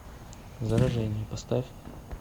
заражение поставь